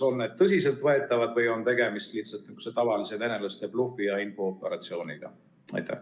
Kas need on tõsiseltvõetavad või on tegemist lihtsalt tavalise venelaste blufi ja infooperatsiooniga?